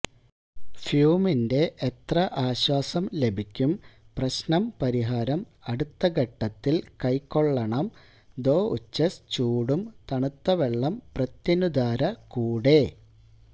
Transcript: ഫ്യൂമിന്റെ എത്ര ആശ്വാസം ലഭിക്കും പ്രശ്നം പരിഹാരം അടുത്ത ഘട്ടത്തിൽ കൈക്കൊള്ളണം ദൊഉഛെസ് ചൂടും തണുത്ത വെള്ളം പ്രത്യനുധാര കൂടെ